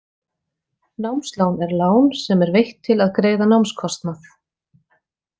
Námslán er lán sem er veitt til að greiða námskostnað.